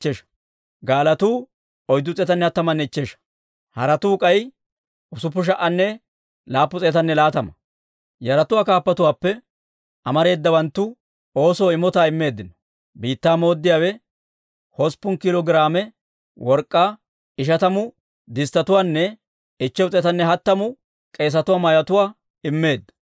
Yaratuwaa kaappatuwaappe amareedawanttu oosoo imotaa immeeddino. Biittaa mooddiyaawe hosppun kiilo giraame work'k'aa, 50 disttetuwaanne 530 k'eesatuwaa mayotuwaa immeedda.